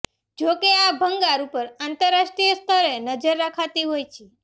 જો કે આ ભંગાર ઉપર આંતરરાષ્ટ્રીય સ્તરે નજર રખાતી હોય છે